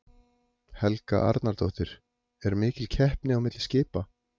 Helga Arnardóttir: Er mikil keppni á milli skipa?